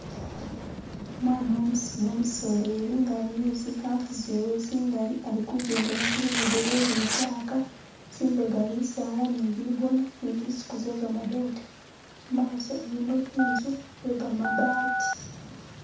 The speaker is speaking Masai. Umwana umisiya umusoleli nga ali ne zikaafu zewe zingali ali kujendela ku lugudo lwe li litaaka, zimbega bisaala ne bigoona ne zisuuku ze gamadote mumaaso ilimo tsinzu tse gamabaati.